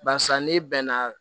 Barisa n'i bɛnna